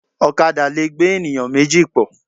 Ọ̀kadà lẹ̀ gbé ènìyàn méjì pọ̀.